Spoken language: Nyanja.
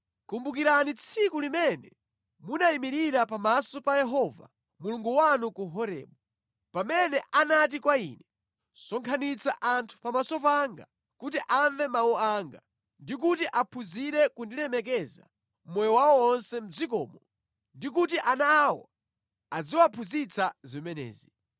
Kumbukirani tsiku limene munayimirira pamaso pa Yehova Mulungu wanu ku Horebu, pamene anati kwa ine, “Sonkhanitsa anthu pamaso panga kuti amve mawu anga ndi kuti aphunzire kundilemekeza mʼmoyo wawo onse mʼdzikomo ndi kuti ana awo aziwaphunzitsa zimenezi.”